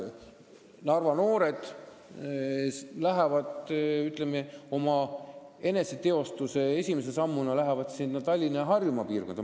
Narva noored lähevad, ütleme, oma eneseteostuse esimese sammuna Tallinna ja Harjumaa piirkonda.